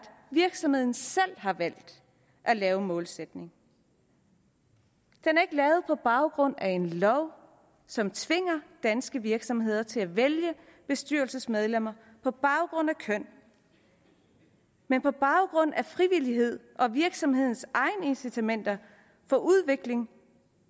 virksomheden selv har valgt at lave en målsætning den er ikke lavet på baggrund af en lov som tvinger danske virksomheder til at vælge bestyrelsesmedlemmer på baggrund af køn men på baggrund af frivillighed og virksomhedens egne incitamenter til udvikling